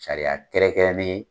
Sariya kɛrɛnkɛrɛn ne.